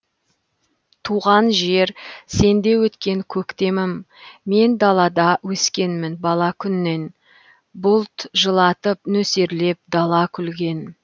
туған жер сенде өткен көктемім мен далада өскенмін бала күннен бұлт жылатып нөсерлеп дала күлген